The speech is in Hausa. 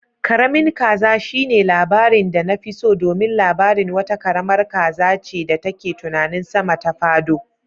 Karamin kaza shine labarin da nafi so domin labarin wata karamar kaza ce da take tunanin sama ta fado.